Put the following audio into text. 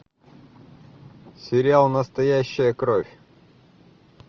сериал настоящая кровь